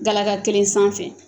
Galaka kelen sanfɛ